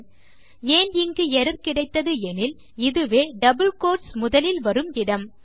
சரி ஏன் இங்கு எர்ரர் கிடைத்தது எனில் இதுவே டபிள் கோட்ஸ் முதலில் வரும் இடம்